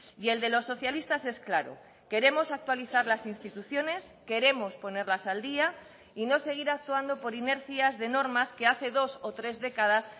y el de los socialistas es claro queremos actualizar las instituciones queremos poner las al día y no seguir actuando por inercias de normas que hace dos o tres décadas